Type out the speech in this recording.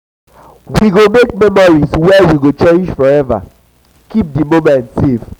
we go make memories dat we go cherish forever keep di moments safe.